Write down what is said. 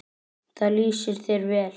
Það lýsir þér vel.